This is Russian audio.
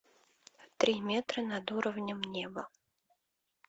три метра над уровнем неба